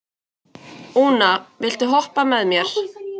Úna, viltu hoppa með mér?